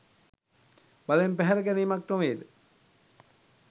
බලෙන් පැහැර ගැනීමක් නොවේද?